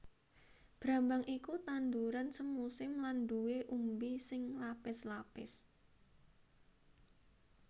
Brambang iku tanduran semusim lan nduwè umbi sing lapis lapis